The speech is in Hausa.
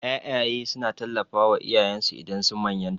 Ƴaƴaye suna tallafawa iyayensu idan sun manyanta.